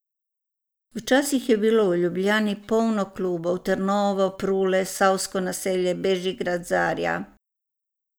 Včasih je bilo v Ljubljani polno klubov, Trnovo, Prule, Savsko naselje, Bežigrad, Zarja ...